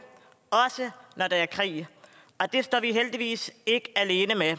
også når der er krig og det står vi heldigvis ikke alene med